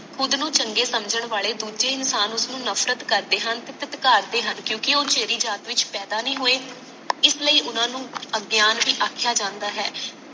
ਖੁਦ ਨੂੰ ਚੰਗੇ ਸਮਜਨ ਵਾਲੇ ਦੂਜੇ ਇਨਸਾਨ ਉਸਨੂੰ ਨਫਰਤ ਕਰਦੇ ਹਨ ਤੇ ਥੁਥਕਾਰਦੇ ਹਨ ਕਿਉਂਕਿ ਉਹ ਓਸੇਦੀ ਜਾਤ ਵਿੱਚ ਪੈਦਾ ਨਹੀਂ ਹੋਏ ਇਸ ਲਈ ਓਹਨਾ ਨੂੰ ਅਗਿਆਨ ਭੀ ਆਖਿਆ ਜਾਂਦਾ ਹੈ